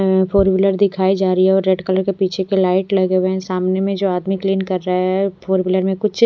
है। Four wheeler दिखाई जा रही है और रेड कलर के पीछे के लाइट लगे हुए है। सामने में जो आदमी क्लीन कर रहा है फोर व्हीलर में कुछ --